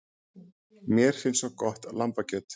Mér finnst svo gott lambakjöt.